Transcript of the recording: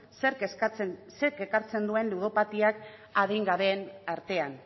zerk ekartzen duen ludopatiak adingabeen artean